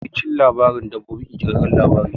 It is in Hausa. Yawancin labarin dabbobi ƙirƙirarren labari ne.